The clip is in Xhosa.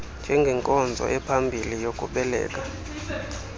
njengenkonzo ephambi kokubeleka